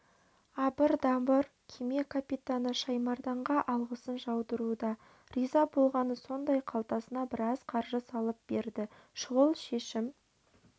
абыр-дабыр кеме капитаны шаймарданға алғысын жаудыруда риза болғаны сондай қалтасына біраз қаржы салып берді шұғыл шешім